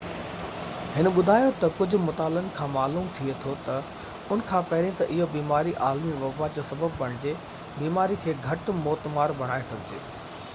هن ٻڌايو تہ ڪجهہ مطالعن کان معلوم ٿئي ٿو تہ ان کان پهرين تہ اهو بيماري عالمي وبا جو سبب بڻجي بيماري کي گهٽ موتمار بڻائڻ گهرجي